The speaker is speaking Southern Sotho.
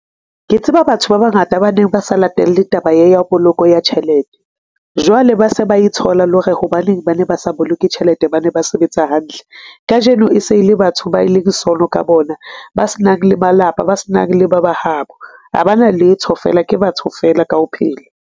Ke tseba batho ba bangata ba neng ba sa latelle taba e ya poloko ya tjhelete, jwale ba se ba e tshola lo re hobaneng ba ne ba sa boloke tjhelete, ba ne ba sebetsa hantle. Kajeno, e se le batho ba e leng sono ka bona, ba s'nang le malapa, ba s'nang le ba habo. Ho ba na letho feela ke batho feela ka ho phela.